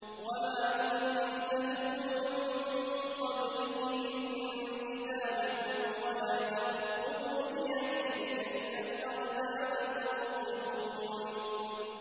وَمَا كُنتَ تَتْلُو مِن قَبْلِهِ مِن كِتَابٍ وَلَا تَخُطُّهُ بِيَمِينِكَ ۖ إِذًا لَّارْتَابَ الْمُبْطِلُونَ